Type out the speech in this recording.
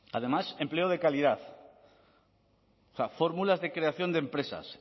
además empleo de calidad o sea fórmulas de creación de empresas